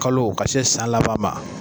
Kalo ka se san laban ma